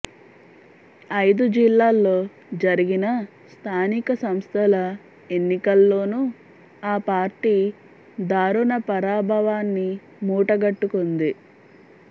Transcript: ఐదు జిల్లాల్లో జరిగిన స్థానిక సంస్థల ఎన్నికల్లోనూ ఆ పార్టీ దారుణ పరాభవాన్ని మూట గట్టుకుంది